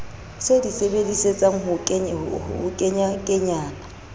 se di sebedisetsang ho kenyakenyana